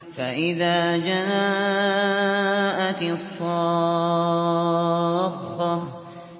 فَإِذَا جَاءَتِ الصَّاخَّةُ